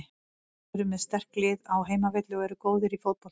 Þeir eru með sterkt lið á heimavelli og eru góðir í fótbolta.